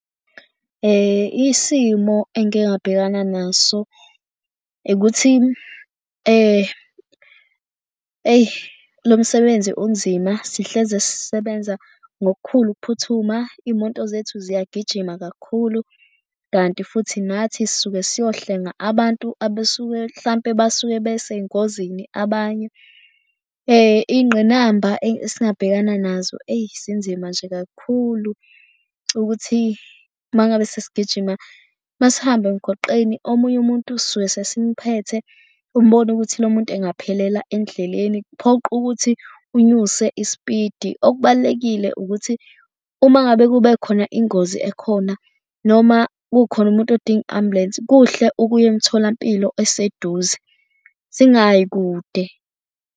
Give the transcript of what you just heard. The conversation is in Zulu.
Isimo engike ngabhekana naso ukuthi eyi lo msebenzi unzima. Sihlezi sisebenza ngokukhulu ukuphuthuma. Iy'moto zethu ziyagijima kakhulu kanti futhi nathi sisuke siyohlenga abantu abasuke mhlampe basuke besey'ngozini abanye. Ingqinamba esingabhekana nazo eyi zinzima nje kakhulu ukuthi uma ngabe sesigijima, uma sihamba emgwaqeni omunye umuntu sisuke sesimphethe umbone ukuthi lo muntu engaphelela endleleni kuphoqe ukuthi unyuse ispidi. Okubalulekile ukuthi uma ngabe kube khona ingozi ekhona noma kukhona umuntu odinga i-ambulensi, kuhle ukuya emitholampilo eseduze singayi kude.